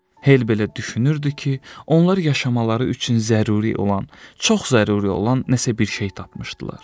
Hel belə düşünürdü ki, onlar yaşamaları üçün zəruri olan, çox zəruri olan nəsə bir şey tapmışdılar.